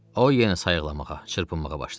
O yenə sayıqlamağa, çırpınmağa başladı.